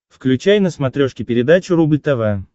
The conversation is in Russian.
включай на смотрешке передачу рубль тв